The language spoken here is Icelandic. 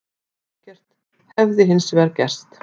Ekkert hefði hins vegar gerst